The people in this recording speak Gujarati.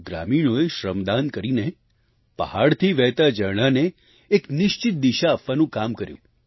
ગ્રામીણોએ શ્રમ દાન કરીને પહાડથી વહેતા ઝરણાને એક નિશ્ચિત દિશા આપવાનું કામ કર્યું